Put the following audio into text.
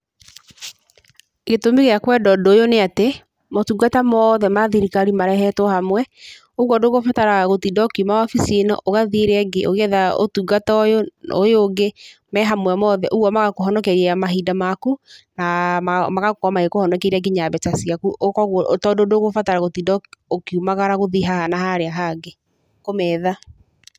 Gĩtũmi gĩa kwenda ũndũ ũyũ nĩ atĩ, motungata moothe ma thirikari marehetwo hamwe, ũguo ndũgũbatara gũtinda ũkiuma wabici ĩno, ũgathiĩ ĩrĩa ĩngĩ ũgĩetha ũtungata ũyũ, ũyũ ũngĩ, me hamwe mote, ũguo magakũhonokeria mahinda maku na magakorwo magĩkũhonokeria nginya mbeca ciaku koguo tondũ ndũgũbatara gũtinda ũkĩumagara gũthiĩ haha na harĩa hangĩ kũmetha.